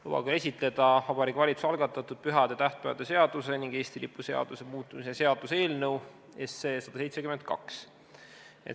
Lubage esitleda Vabariigi Valitsuse algatatud pühade ja tähtpäevade seaduse ning Eesti lipu seaduse muutmise seaduse eelnõu 172.